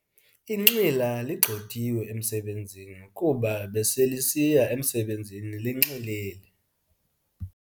Inxila ligxothiwe emsebenzini kuba beselisiya emsebenzini linxilile.